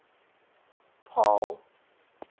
paarl